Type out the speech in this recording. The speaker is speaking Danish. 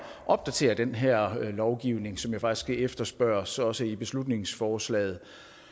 opdatere den her lovgivning som jo faktisk efterspørges også i beslutningsforslaget